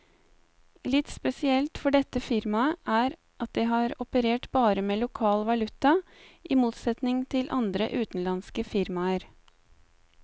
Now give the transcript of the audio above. Litt spesielt for dette firmaet er at det har operert bare med lokal valuta, i motsetning til andre utenlandske firmaer.